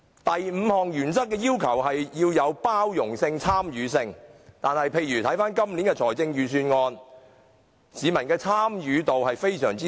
第五項原則要求具包容性、參與性，但本年的財政預算案，市民的參與度非常低。